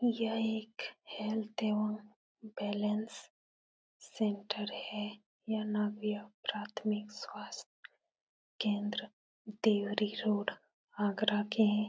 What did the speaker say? यह एक हेल्थ एवं बैलेंस सेंटर है। यह प्राथमिक स्वास्थ केंद्र देवरी रोड आगरा के हैं।